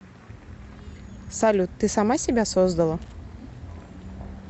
салют ты сама себя создала